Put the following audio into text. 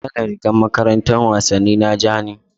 Kalar rigar makarantar wasanni na ja ne.